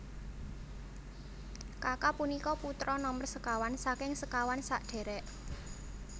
Kaka punika putra nomer sekawan saking sekawan sadherek